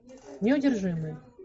неудержимые